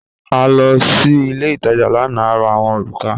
A lọ sí ilẹ̀ itaja lána, à rà awọn orúkà.